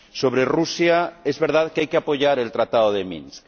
Sobre Rusia, es verdad que hay que apoyar el Tratado de Minsk.